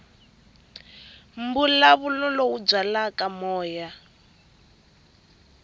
mbulavulo lowu byalaka moya wa